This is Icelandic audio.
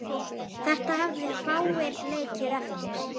Þetta hefðu fáir leikið eftir.